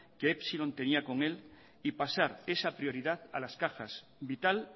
que epsilon tenía con él y pasar esa prioridad a las cajas vital